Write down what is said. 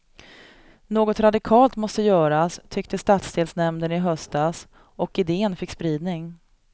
Något radikalt måste göras, tyckte stadsdelsnämnden i höstas, och idén fick spridning.